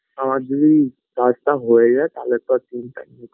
আমার যদি কাজটা হয়ে যায় তালে তো আর চিন্তা নেই